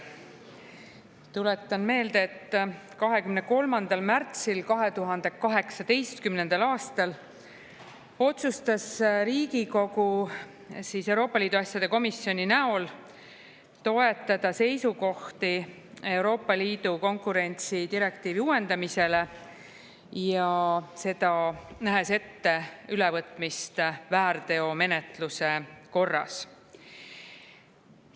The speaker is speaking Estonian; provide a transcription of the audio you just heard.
Tuletan meelde, et 23. märtsil 2018. aastal otsustas Riigikogu Euroopa Liidu asjade komisjoni näol toetada seisukohti Euroopa Liidu konkurentsidirektiivi uuendamisele ja seda nähes ette ülevõtmist väärteomenetluse korras.